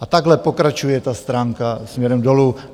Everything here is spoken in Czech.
A takhle pokračuje ta stránka směrem dolů.